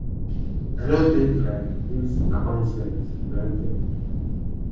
"i no take um dis appointment for granted.